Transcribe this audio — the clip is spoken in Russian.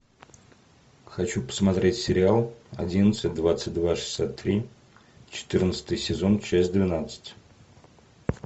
хочу посмотреть сериал одиннадцать двадцать два шестьдесят три четырнадцатый сезон часть двенадцать